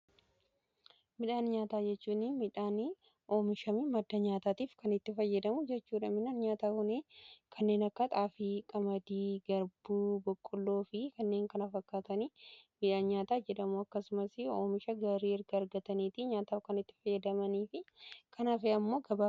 Midhaan nyaataa jechuun midhaan oomishame madda nyaataatiif kan itti fayyadamu jechuudha. Midhaan nyaataa kuni kanneen akka xaafii, qamadii, garbuu, boqqoloo fi kanneen kana fakkaatanii midhaan nyaataa jedhamu akkasumas oomisha gaarii erga argataniiti nyaataaf kan itti fayyadamanii fi kan hafe ammoo gara